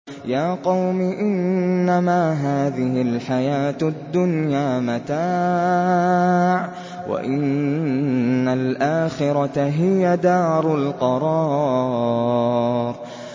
يَا قَوْمِ إِنَّمَا هَٰذِهِ الْحَيَاةُ الدُّنْيَا مَتَاعٌ وَإِنَّ الْآخِرَةَ هِيَ دَارُ الْقَرَارِ